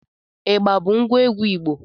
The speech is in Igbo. Igba bụ ngwa egwu Igbo